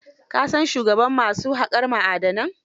Ka san shugaban ma su haƙar ma'adanan?